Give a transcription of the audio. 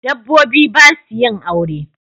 Dabobbi basu yin aure